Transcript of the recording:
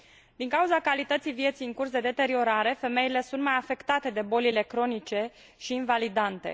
Din cauza calității vieții, în curs de deteriorare, femeile sunt mai afectate de bolile cronice și invalidante.